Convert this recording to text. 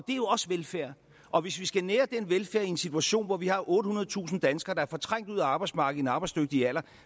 er jo også velfærd og hvis vi skal nære den velfærd i en situation hvor vi har ottehundredetusind danskere der er fortrængt ud af arbejdsmarkedet arbejdsdygtige alder